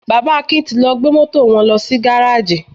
Bàbá Akin ti lọ gbé Mọ́tò wọn lọ sí gáráàjì.